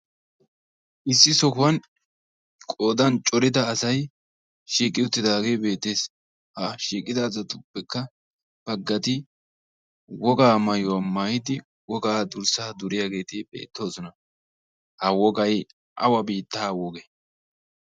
issi sohuwan qoodan corida asay beettoosona. ha eqqida asatuppekka baggati wogaa mayuwa mayidi wogaa durssaa duriyageeti beettoosona. ha wogay awa biittaa woge?